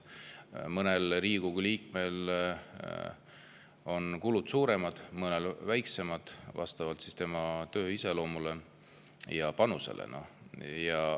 Mõnel Riigikogu liikmel on kulud suuremad, mõnel väiksemad, vastavalt tema töö iseloomule ja panusele.